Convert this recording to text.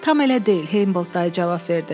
Tam elə deyil, Hamboldt dayı cavab verdi.